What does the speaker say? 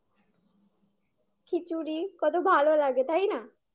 খিচুরি কত ভালো লাগে তাই না